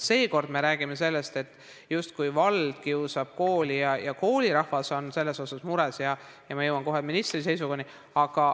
Seekord me räägime sellest, justkui vald kiusab kooli ja koolirahvas on sellepärast mures.